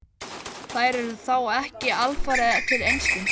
Þær eru þá ekki alfarið til einskis.